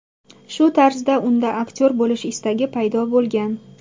Shu tarzda unda aktyor bo‘lish istagi paydo bo‘lgan.